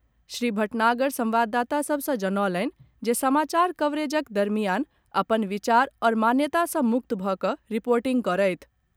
श्री भटनागर संवाददाता सभ सँ जनौलनि जे समाचार कवरेजक दरमियान अपन विचार आओर मान्यता सँ मुक्त भऽ कऽ रिर्पोटिंग करथि।